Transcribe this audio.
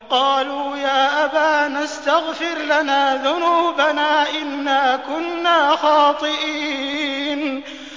قَالُوا يَا أَبَانَا اسْتَغْفِرْ لَنَا ذُنُوبَنَا إِنَّا كُنَّا خَاطِئِينَ